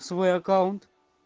свой аккаунт